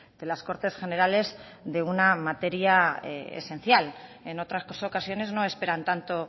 de las cortes generales de una materia esencial en otras ocasiones no esperan tanto